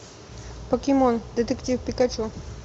покемон детектив пикачу